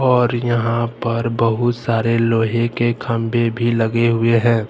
और यहां पर बहुत सारे लोहे के खंभे भी लगे हुए हैं।